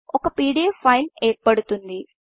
ఒక PDF file ఏర్పడుతుంది